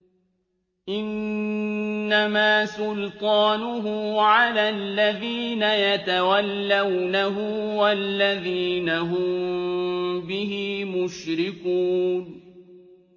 إِنَّمَا سُلْطَانُهُ عَلَى الَّذِينَ يَتَوَلَّوْنَهُ وَالَّذِينَ هُم بِهِ مُشْرِكُونَ